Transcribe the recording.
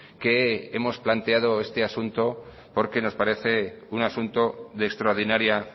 que hemos planteado este asunto porque nos parece un asunto de extraordinaria